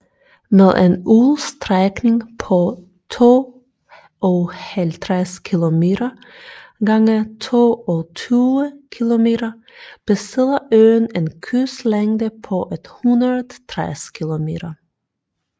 Med en udstrækning på 52 km gange 22 km besidder øen en kystlængde på 160 km